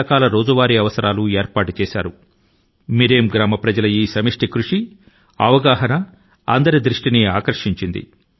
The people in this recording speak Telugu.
మిరెమ్ గ్రామీణుల వంతు గా వారిలో వ్యక్తం అయినటువంటి ఈ చైతన్యం మరియు వారి యొక్క ఈ సామూహిక ప్రయాస అందరి సావధానత ను మరి అలాగే ప్రశంసల ను తన వైపు నకు తిప్పుకొన్నాయి